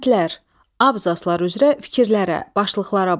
Bəndlər, abzaslar üzrə fikirlərə, başlıqlara bax.